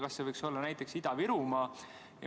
Kas see võiks olla näiteks Ida-Virumaal?